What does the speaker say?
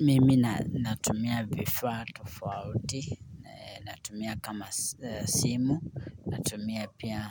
Mimi natumia vifaa tofauti natumia kama simu, natumia pia